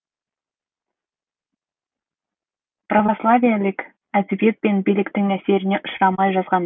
православиелік әдебиет пен биліктің әсеріне ұшырамай жазғандар